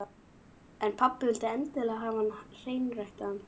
En pabbi vildi endilega hafa hann hreinræktaðan.